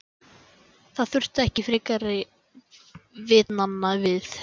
Það þurfti ekki frekari vitnanna við.